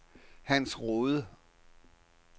Hans Rohde